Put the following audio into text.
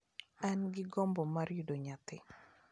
An gi gombo mar yudo nyathi.